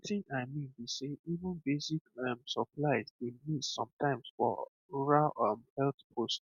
wetin i mean be sey even basic um supplies dey miss sometimes for rural um health post